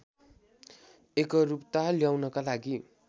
एकरूपता ल्याउनका लागि